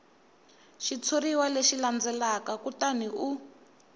xitshuriwa lexi landzelaka kutani u